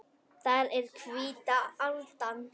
Það er hvíta aldan.